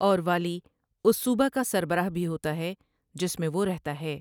اور والی اس صوبہ کا سربراہ بھی ہوتا ہے جس میں وہ رہتا ہے۔